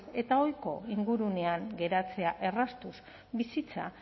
eta ohiko ingurunean geratzea erraztuz bizitza